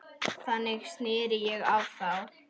Þannig sneri ég á þá.